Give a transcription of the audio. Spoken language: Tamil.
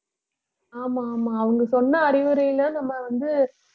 ஆமா ஆமா அவங்க சொன்ன அறிவுரையில நம்ம வந்து